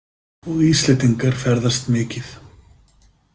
Og Íslendingar ferðast mikið.